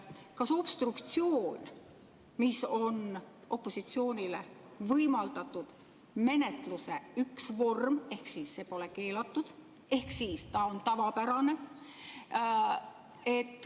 Obstruktsioon on opositsioonile võimaldatud menetluse üks vorm, ehk siis see pole keelatud, ta on tavapärane.